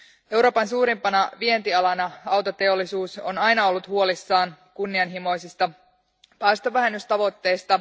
Euroopan suurimpana vientialana autoteollisuus on aina ollut huolissaan kunnianhimoisista päästövähennystavoitteista.